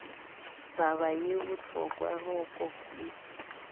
taba ye bohloko roko ye